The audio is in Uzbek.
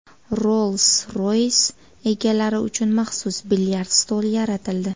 Rolls-Royce egalari uchun maxsus bilyard stoli yaratildi.